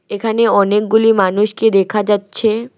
এখানে অনেকগুলি মানুষকে দেখা যাচ্ছে।